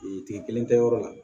Tigi kelen tɛ yɔrɔ la